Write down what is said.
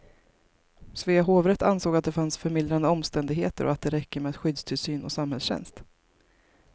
Svea hovrätt ansåg att det fanns förmildrande omständigheter och att det räcker med skyddstillsyn och samhällstjänst.